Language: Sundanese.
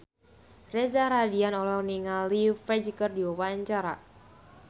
Reza Rahardian olohok ningali Ferdge keur diwawancara